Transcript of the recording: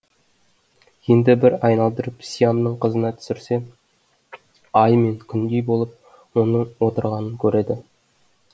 енді бір айналдырып сиямның қызына түсірсе ай мен күндей болып оның отырғанын көреді